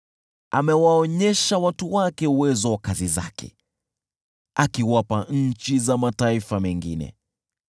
Amewaonyesha watu wake uwezo wa kazi zake, akiwapa nchi za mataifa mengine.